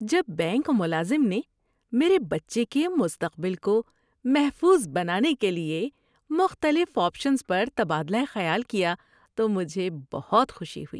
جب بینک ملازم نے میرے بچے کے مستقبل کو محفوظ بنانے کے لیے مختلف آپشنز پر تبادلہ خیال کیا تو مجھے بہت خوشی ہوئی۔